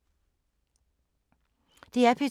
DR P2